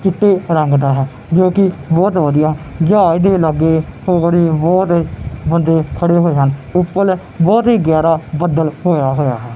ਚਿੱਟੇ ਰੰਗ ਦਾ ਹੈ ਜੋਕਿ ਬਹੁਤ ਵਧੀਆ ਜਹਾਜ ਦੇ ਲਾਗੇ ਹੋਰ ਵੀ ਬਹੁਤ ਬੰਦੇ ਖੜੇ ਹੋਏ ਹਨ ਉਪਲ ਬਹੁਤ ਹੀ ਗੈਰਾ ਬੱਦਲ ਹੋਇਆ ਹੋਇਆ ਹੈ।